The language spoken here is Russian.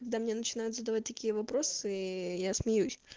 когда мне начинают задавать такие вопросы ээ я смеюсь